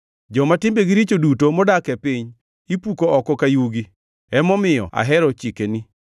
Joma timbegi richo duto modak e piny ipuko oko ka yugi; emomiyo ahero chikeni.